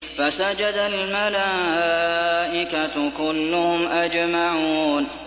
فَسَجَدَ الْمَلَائِكَةُ كُلُّهُمْ أَجْمَعُونَ